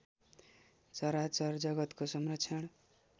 चराचर जगतको संरक्षण